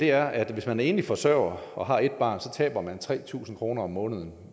er at hvis man er enlig forsørger og har et barn taber man tre tusind kroner om måneden